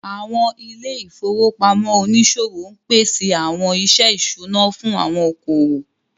Àwọn ilé ìfowópamọ́ oníṣòwò ń pèsè àwọn iṣẹ́ ìṣúná fún àwọn okòwò